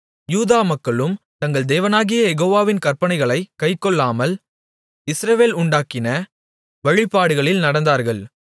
யூதா மக்களும் தங்கள் தேவனாகிய யெகோவாவின் கற்பனைகளைக் கைக்கொள்ளாமல் இஸ்ரவேல் உண்டாக்கின வழிபாடுகளில் நடந்தார்கள்